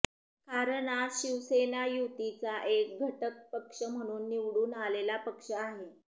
कारण आज शिवसेना युतीचा एक घटकपक्ष म्हणून निवडून आलेला पक्ष आहे